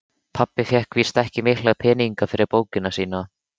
Pabbi fékk víst ekki mikla peninga fyrir bókina sína.